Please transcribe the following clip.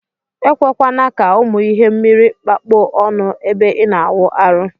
Ekwekwana ka ụmụ ihe mmiri kpakọ ọnụ ebe ina awụ arụ.